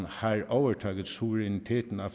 har overtaget suveræniteten